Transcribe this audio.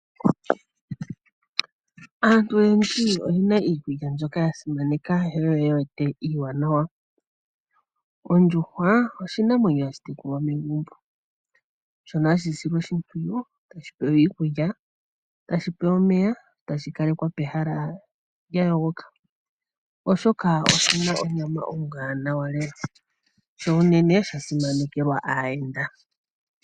Aantu oyendji oye na iikulya mbyoka ya simaneka ye wete iiwanawa. Ondjuhwa, oshinamwenyo hashi tekulwa megumbo, shono hashi silwa oshipwiyu tashi pewa iikulya nomeya, tashi kalekwa pehala lya yogoka oshoka, oshi na onyama ombwaanawa lela, sho unene osha simanekelwa aayenda.